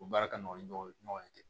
O baara ka nɔgɔ ni ɲɔgɔn ye ten